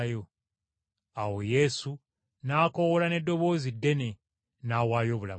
Awo Yesu n’akoowoola n’eddoboozi ddene, n’awaayo obulamu bwe.